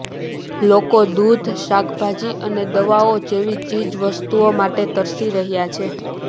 લોકો દૂધ શાકભાજી અને દવાઓ જેવી ચીજ વસ્તુઓ માટે તરસી રહ્યાં છે